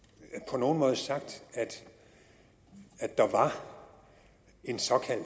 på nogen måde sagt at der var en såkaldt